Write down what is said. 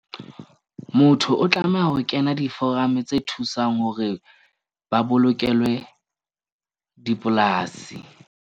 Motho o tlameha ho kena di-forum-e tse thusang hore ba bolokelwe dipolasi.